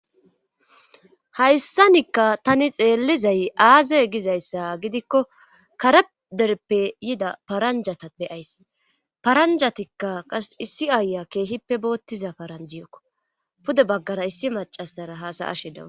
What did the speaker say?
hayssanikka tani xeellizay aazey gizayssa gidikko kare derppe yida paranjata beyays paranjatikka qa issi aaya keehippe boottiza paranjiyokko pude baggara issi macasara haasaashe dawus.